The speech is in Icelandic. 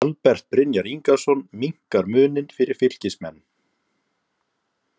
ALBERT BRYNJAR INGASON MINNKAR MUNINN FYRIR FYLKISMENN!!